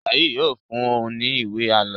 Saheed yóò fún o ní ìwé àlọ.